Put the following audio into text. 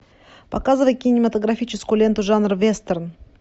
показывай кинематографическую ленту жанра вестерн